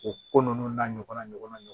O ko ninnu n'a ɲɔgɔna ɲɔgɔnaw